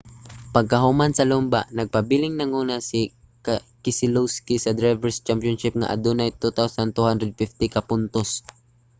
pagkahuman sa lumba nagpabiling nanguna si keselowski sa drivers' championship nga adunay 2,250 ka puntos